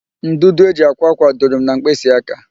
Ndụdụ e ji akwa ákwà dụrụ m na mkpịsị aka